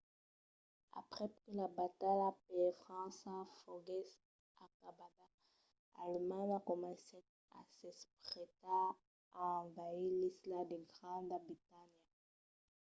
aprèp que la batalha per frança foguèsse acabada alemanha comencèt a s'aprestar a envasir l’isla de granda bretanha